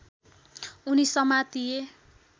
उनी समातिए